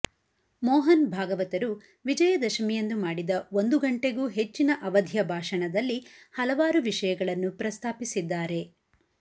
ಮೋಹನ್ ಭಾಗವತರು ವಿಜಯದಶಮಿಯಂದು ಮಾಡಿದ ಒಂದುಗಂಟೆಗೂ ಹೆಚ್ಚಿನ ಅವಧಿಯ ಭಾಷಣದಲ್ಲಿ ಹಲವಾರು ವಿಷಯಗಳನ್ನು ಪ್ರಸ್ತಾಪಿಸಿದ್ದಾರೆ